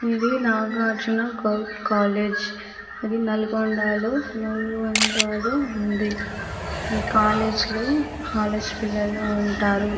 ఇది నాగార్జున కాలేజీ ఇది నల్గొండలో ఉంది ఈ కాలేజీ లో కాలేజీ పిల్లలు ఉంటారు